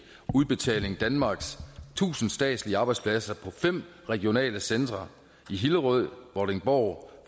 udbetaling danmarks tusind statslige arbejdspladser på fem regionale centre i hillerød vordingborg